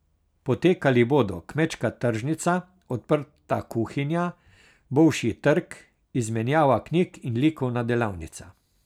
Potekali bodo kmečka tržnica, odprta kuhinja, bolšji trg, izmenjava knjig in likovna delavnica.